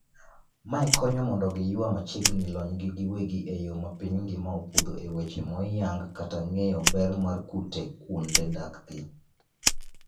Mae konyo mondo giyua machiegni lonygi giwegi eyoo mapiny ngima opuodho eweche moyang kaka ng'eyo ber mar kute kuonde dakgi.